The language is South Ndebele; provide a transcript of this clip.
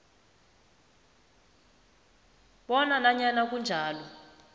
bona nanyana kunjalo